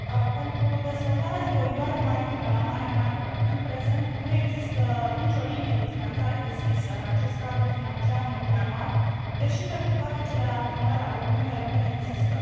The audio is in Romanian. Pentru dezvoltarea de coridoare maritime la Marea Neagră, în prezent nu există nicio linie de finanțare deschisă în acest Cadru Financiar Multianual, deși pentru toate celelalte mări ale Uniunii Europene există.